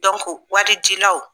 waridilaw